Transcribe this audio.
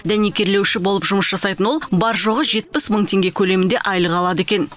дәнекерлеуші болып жұмыс жасайтын ол бар жоғы жетпіс мың теңге көлемінде айлық алады екен